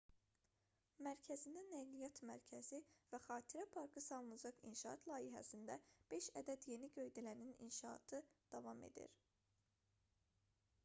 mərkəzində nəqliyyat mərkəzi və xatirə parkı salınacaq inşaat layihəsində beş ədəd yeni göydələnin inşaatı davam edir